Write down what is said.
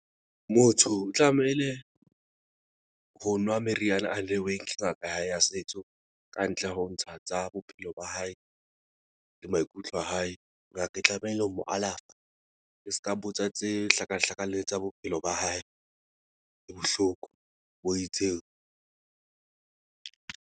Motho tlamehile ho nwa meriana a neuweng ke ngaka hae ya setso kantle ho ntsha tsa bophelo ba hae le maikutlo a hae. Ngaka e tlamehile ho mo alafa e ska botsa tse hlakahlakaneng tsa bophelo ba hae. Ke bohloko bo itseng.